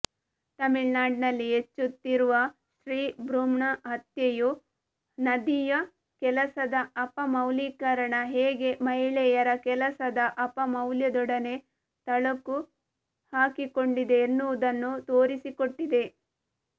ತಮಿಳ್ನಾಡಿನಲ್ಲಿ ಹೆಚ್ಚುತ್ತಿರುವ ಸ್ತ್ರೀಭ್ರೂಣಹತ್ಯೆಯು ನದಿಯ ಕೆಲಸದ ಅಪಮೌಲ್ಯೀಕರಣ ಹೇಗೆ ಮಹಿಳೆಯರ ಕೆಲಸದ ಅಪಮೌಲ್ಯದೊಡನೆ ತಳಕು ಹಾಕಿಕೊಂಡಿದೆ ಎನ್ನುವುದನ್ನು ತೋರಿಸಿಕೊಟ್ಟಿದೆ